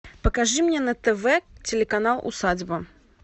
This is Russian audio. покажи мне на тв телеканал усадьба